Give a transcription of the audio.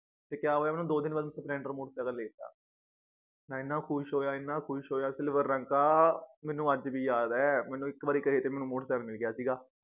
ਤੇ ਕਯਾ ਹੋਇਆ ਮੈਨੂੰ ਦੋ ਦਿੰਨ ਬਾਅਦ splendor motor cycle ਲੇਕੇ ਦੇਤਾ ਮੈ ਇਨ੍ਹਾਂ ਖੁਸ਼ ਹੋਇਆ ਇਹਨਾਂ ਖੁਸ਼ ਹੋਇਆ silver ਰੰਗ ਕਾ ਮੈਨੂੰ ਅੱਜ ਵੀ ਯਾਦ ਏ ਮੈਨੂੰ ਇੱਕ ਵਾਰੀ ਕਹੇ ਤੇ ਮੈਨੂੰ motor cycle ਮਿਲਗਯਾ ਸੀਗਾ